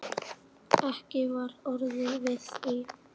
Ekki var orðið við því.